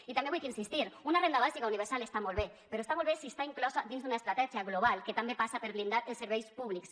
i també vull insistir una renda bàsica universal està molt bé però està molt bé si està inclosa dins d’una estratègia global que també passa per blindar els serveis públics